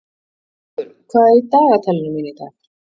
Hrólfur, hvað er í dagatalinu mínu í dag?